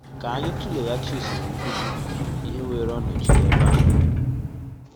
Ka anyị tụ̀lèghàchì usoro nkụzi ihe wèèrè ọ̀nòchì n’ebe ahụ.